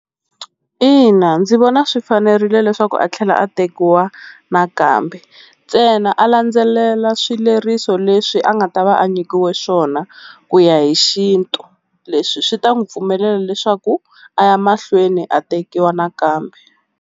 Ina ndzi vona swi fanerile leswaku a tlhela a tekiwa nakambe ntsena a landzelela swileriso leswi a nga ta va a nyikiwe swona ku ya hi xintu, leswi swi ta n'wi pfumelela leswaku a ya mahlweni a tekiwa nakambe.